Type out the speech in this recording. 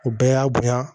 U bɛɛ y'a bonya